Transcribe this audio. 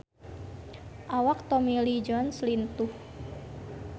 Awak Tommy Lee Jones lintuh